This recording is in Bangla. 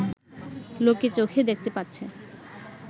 লোকে চোখে দেখতে পাচ্ছে